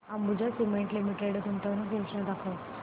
Ambuja cement limited गुंतवणूक योजना दाखव